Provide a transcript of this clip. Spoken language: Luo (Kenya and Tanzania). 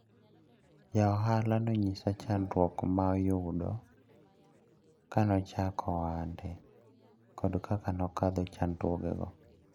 Jaohala nonyisa chandruok mayudo kanochako ohande kod kaka nokadho chandruogego.